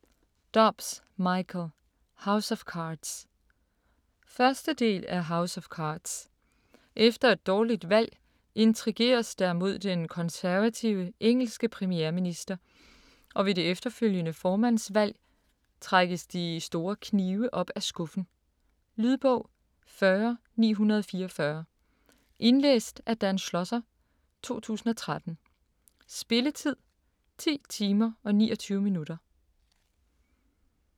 Dobbs, Michael: House of cards 1. del af House of cards. Efter et dårligt valg intrigeres der mod den konservative engelske premierminister og ved det efterfølgende formandsvalg trækkes de store knive op af skuffen. Lydbog 40944 Indlæst af Dan Schlosser, 2013. Spilletid: 10 timer, 29 minutter.